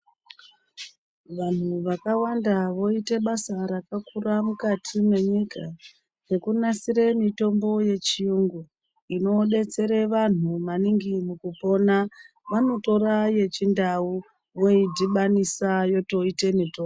Vanhu vakawanda voita basa rakakura mukati mwe nyika rekunasire mitombo ye chiyungu inodetsera vanhu maningi mu kupona vanotora yechi ndau voidhibanisa yotoote mitombo.